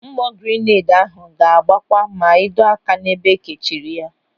Mgbọ girineedi ahụ ga-agbawa ma ịdọ aka n'ebe ekechiri ya.